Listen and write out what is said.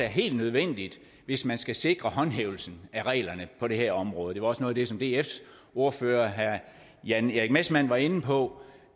helt nødvendigt hvis man skal sikre håndhævelsen af reglerne på det her område det var også noget af det som dfs ordfører herre jan erik messmann var inde på